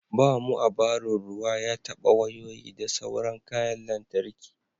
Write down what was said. ba mu a barin ruwa ya taba wayoyi da sauran kayan lantarki